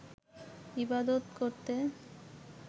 ইবাদত করতে